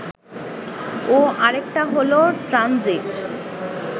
ও আরেকটা হলো ট্রানজিট